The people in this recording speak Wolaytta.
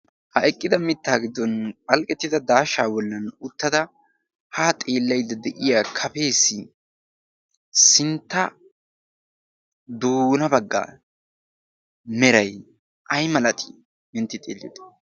ha eqqida mittaa giddon phalqqettida daashaa wollan uttada haa xeellaydda de'iya kafees sintta doona baggaa meray ay malatii intti xeelliyoode